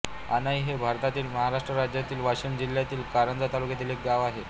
अणाई हे भारतातील महाराष्ट्र राज्यातील वाशिम जिल्ह्यातील कारंजा तालुक्यातील एक गाव आहे